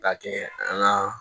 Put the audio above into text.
Ka kɛ an ka